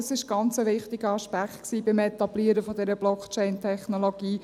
Das war ein ganz wichtiger Aspekt beim Etablieren dieser Blockchain-Technologie: